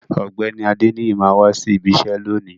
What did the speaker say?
Ògbéni Adeniyi ma wa sí ìbi iṣẹ lóni.